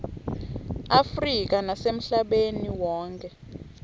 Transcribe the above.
afrika nasemhlabeni wonkhe